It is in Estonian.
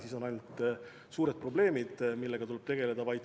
Siis on ainult suured probleemid, millega tuleb tegeleda.